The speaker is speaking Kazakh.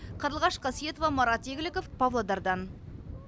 қарлығаш қасиетова марат игіліков павлодардан